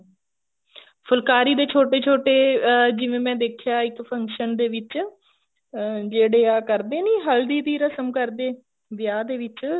ਫੁਲਕਾਰੀ ਦੇ ਛੋਟੇ ਛੋਟੇ ਅਹ ਜਿਵੇਂ ਮੈਂ ਦੇਖਿਆ ਇੱਕ function ਦੇ ਵਿੱਚ ਅਹ ਜਿਹੜੇ ਆਹ ਕਰਦੇ ਨੀ ਹਲਦੀ ਦੀ ਰਸ਼ਮ ਕਰਦੇ ਵਿਆਹ ਦੇ ਵਿੱਚ